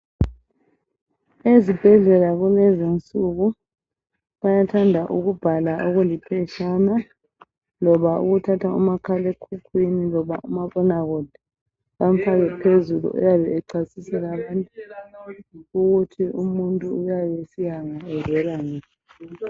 Ezibhedlela kulezinsuku bayathanda ukubhala okuliphetshana loba ukuthatha umakhalekhukhwini loba umabonakude bamfake phezulu oyabe echasisela abantu ukuthi umuntu uyabe esiyangaphi evela ngaphi.